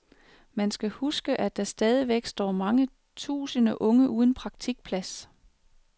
Man skal huske, at der stadigvæk står mange tusinde unge uden praktikplads.